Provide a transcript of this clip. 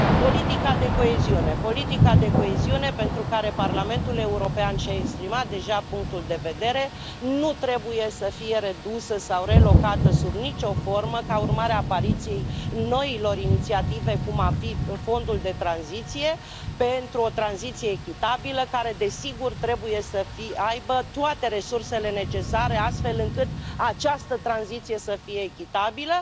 Politica de coeziune politica de coeziune pentru care Parlamentul European și a exprimat deja punctul de vedere nu trebuie să fie redusă sau relocată sub nicio formă ca urmare a apariției noilor inițiative, cum ar fi Fondul pentru o tranziție justă, care, desigur, trebuie să dispună de toate resursele necesare, astfel încât această tranziție să fie echitabilă.